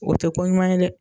O tɛ ko ɲuman ye dɛ